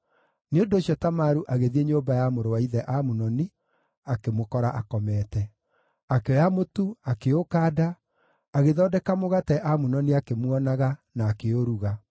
Nĩ ũndũ ũcio Tamaru agĩthiĩ nyũmba ya mũrũ wa ithe Amunoni, akĩmũkora akomete. Akĩoya mũtu, akĩũkanda, agĩthondeka mũgate Amunoni akĩmuonaga, na akĩũruga.